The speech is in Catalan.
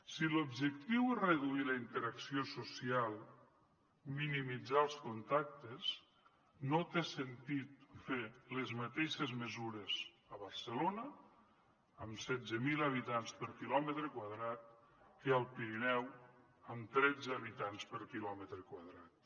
si l’objectiu és reduir la interacció social minimitzar els contactes no té sentit fer les mateixes mesures a barcelona amb setze mil habitants per quilòmetre quadrat que al pirineu amb tretze habitants per quilòmetre quadrat